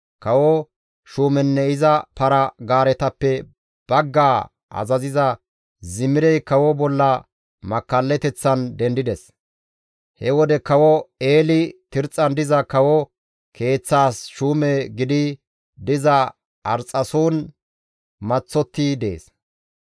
Kawo shuumenne iza para-gaaretappe baggaa azaziza Zimirey kawo bolla makkallateththan dendides. He wode Kawo Eeli Tirxxan diza kawo keeththaas shuume gidi diza Arxxason maththotti dees.